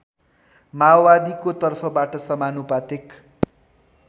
माओवादीको तर्फबाट समानुपातिक